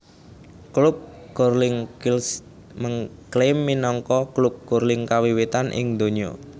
Klub Curling Kilsyth ngklaim minangka klub curling kawiwitan ing donya